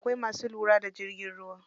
Akwai masu lura da jirgin ruwa.